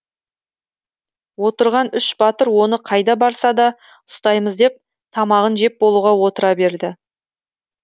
отырған үш батыр оны қайда барса да ұстаймыз деп тамағын жеп болуға отыра берді